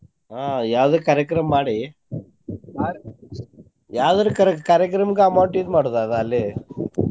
ಆಹ್ ಯಾವ್ದೆ ಕಾರ್ಯಕ್ರಮ ಮಾಡಿ ಯಾವ್ದರ ಕರ~ ಕಾರ್ಯಕ್ರಮಕ್ಕ amount use ಮಾಡೊದ ಅದ ಅಲ್ಲೆ .